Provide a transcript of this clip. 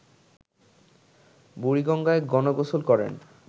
বুড়িগঙ্গায় গণ-গোসল করেন